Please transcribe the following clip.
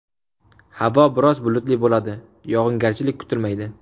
Havo biroz bulutli bo‘ladi, yog‘ingarchilik kutilmaydi.